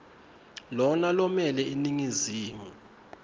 lona lomele iningizimu